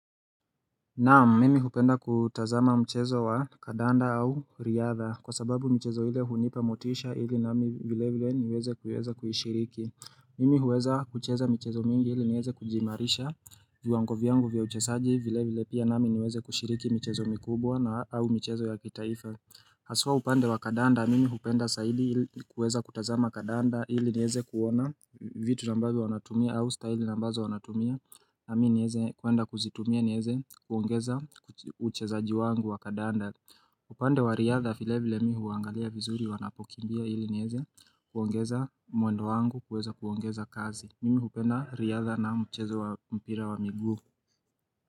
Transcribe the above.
Naam. Mimi hupenda kutazama mchezo wa kadanda au riadha kwa sababu michezo ile hunipa motisha ili nami vile vile niweze kuweza kuishiriki Mimi huweza kucheza michezo mingi ili nieze kujiimarisha viwango vyangu vya uchezaji vile vile pia nami niweze kushiriki michezo mikubwa na au michezo ya kitaifa Haswa upande wa kadanda mimi hupenda zaidi ili kuweza kutazama kadanda ili nieze kuona vitu ambazo wanatumia au style ambazo wanatumia nami nieze kuenda kuzitumia nieze kuongeza uchezaji wangu wa kadanda upande wa riyadha vile vile mimi huangalia vizuri wanapokimbia ili nieze kuongeza mwendo wangu kuweza kuongeza kasi Mimi hupenda riyadha na mchezo wa mpira wa miguu.